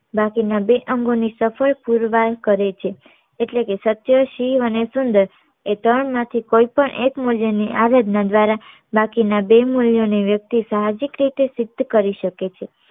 બાકી ના બે અંગો ની સફળ પુરવાઈ કરે છે એટલે કે સત્ય શિવ અને સુંદર એ ત્રણ માંથી કોઈ પણ એક મુલ્ય ની આરાધના દ્વારા બાકી ના બે મુલ્યો ને વ્યક્તિ સાહસિક રીતે સિદ્ધ કરી શકે છે